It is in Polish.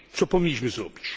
Co powinniśmy zrobić?